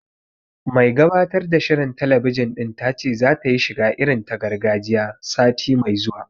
Mai gabatar da shirin talabijin ɗin ta ce zata yi shiga irin ta gargajiya, sati mai zuwa